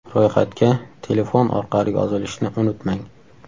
Ro‘yxatga telefon orqali yozilishni unutmang!!!